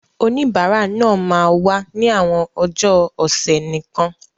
Oníbàárà náà máa wá ní àwọn ọjọ́ ọ̀sẹ̀ nìkan.